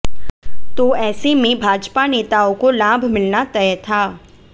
तो ऐसे में भाजपा नेताओ को लाभ मिलना तय था